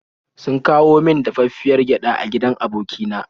Sun kawo min dafaffiyar gyada a gidan aboki na.